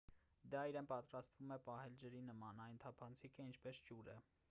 դա իրեն պատրաստվում է պահել ջրի նման այն թափանցիկ է ինչպես ջուրը